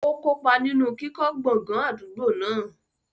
Ó kópa nínú kíkọ́ gbọ̀ngàn àdúgbò náà.